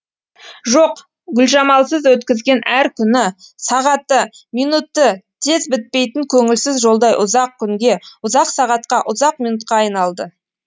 жоқ гүлжамалсыз өткізген әр күні сағаты минуті тез бітпейтін көңілсіз жолдай ұзақ күнге ұзақ сағатқа ұзақ минутқа айналды